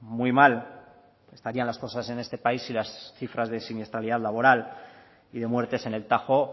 muy mal estarían las cosas en este país si las cifras de siniestralidad laboral y de muertes en el tajo